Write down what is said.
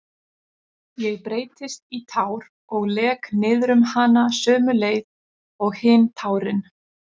Ég breytist í tár og lek niðrum hana sömu leið og hin tárin.